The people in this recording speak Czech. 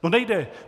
No nejde.